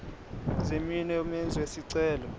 zeminwe yomenzi wesicelo